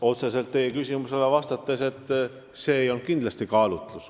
Otseselt teie küsimusele vastates ütlen, et see ei olnud kindlasti see kaalutlus.